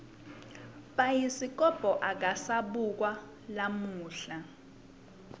bhayiskobho akasabukwa lamuhla